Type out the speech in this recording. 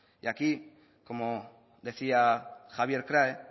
de aquí como decía javier krahe